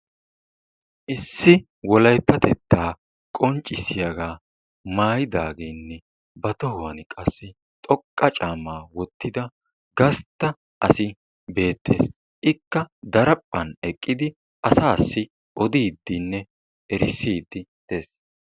issi wolayttatettaa qonccissiyagaa maayidaageenne ba tohuwan qassi xoqqa caamaa wottida gastta asi beettees. Ikka daraphphan eqqidi asaassi odiidinne erisiidi des.